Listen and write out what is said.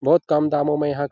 बहुत कम दामों में यहाँ --